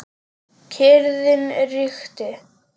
Kyrrðin ríkti.